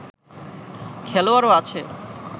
খেলোয়াড়ও আছে